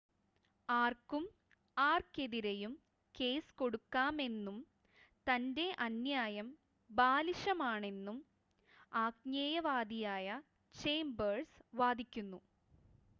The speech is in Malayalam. """ആർക്കും ആർക്കെതിരെയും കേസ് കൊടുക്കാമെന്നും" തന്റെ അന്യായം "ബാലിശമാണെന്നും" ആജ്ഞേയവാദിയായ ചേമ്പേഴ്‌സ് വാദിക്കുന്നു.